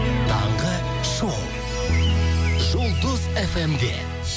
таңғы шоу жұлдыз фм де